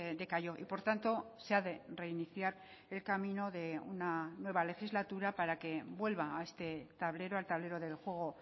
decayó y por tanto se ha de reiniciar el camino de una nueva legislatura para que vuelva a este tablero al tablero del juego